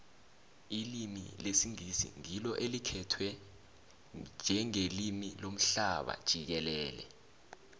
ilimi lesingisi ngilo elikhtwe njengelimi lomhlaba jikelele